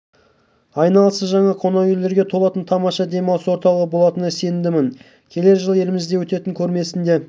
айналасы жаңа қонақ үйлерге толатын тамаша демалыс орталығы болатынына сенімдімін келер жылы елімізде өтетін көрмесінде